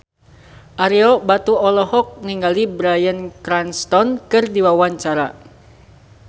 Ario Batu olohok ningali Bryan Cranston keur diwawancara